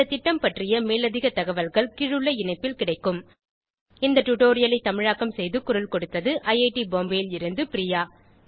இந்த திட்டம் பற்றிய மேலதிக தகவல்கள் கீழுள்ள இணைப்பில் கிடைக்கும் இந்த டுடோரியலை தமிழாக்கம் செய்து குரல் கொடுத்தது ஐஐடி பாம்பேவில் இருந்து பிரியா